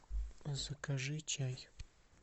закажи чай